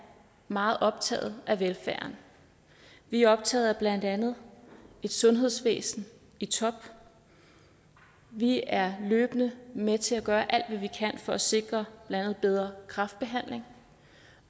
meget optaget af velfærden vi er optaget af blandt andet et sundhedsvæsen i top vi er løbende med til at gøre alt hvad vi kan for at sikre blandt andet bedre kræftbehandling